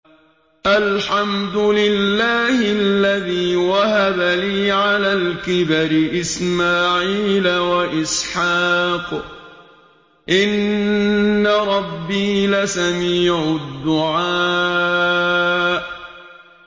الْحَمْدُ لِلَّهِ الَّذِي وَهَبَ لِي عَلَى الْكِبَرِ إِسْمَاعِيلَ وَإِسْحَاقَ ۚ إِنَّ رَبِّي لَسَمِيعُ الدُّعَاءِ